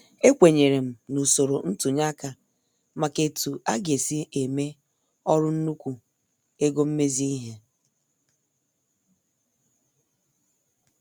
Ekwenyerem na usoro ntunye aka maka etu aga- esi eme ọrụ nnukwu ego mmezi ihe.